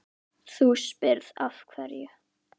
Þú spyrð af hverju.